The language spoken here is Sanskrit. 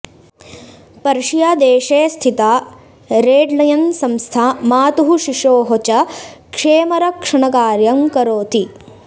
पर्षियादेशे स्थिता रेड्लयन्संस्था मातुः शिशोः च क्षेमरक्षणकार्यं करोति